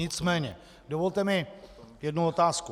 Nicméně dovolte mi jednu otázku.